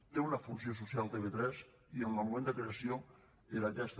té una funció social tv3 i en el moment de creació era aquesta